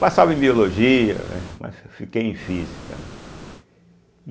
Passava em Biologia, né, mas fi fiquei em Física, né.